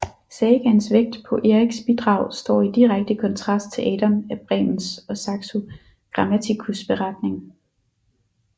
Sagaens vægt på Eriks bidrag står i direkte kontrast til Adam af Bremens og Saxo Grammaticus beretning